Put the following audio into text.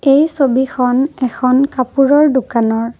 এই ছবিখন এখন কাপোৰৰ দোকানৰ।